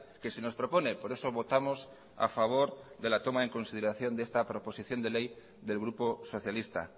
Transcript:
que se nos propone por eso votamos a favor de la toma en consideración de esta proposición de ley del grupo socialista